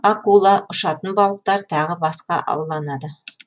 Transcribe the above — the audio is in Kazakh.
акула ұшатын балықтар тағы басқа ауланады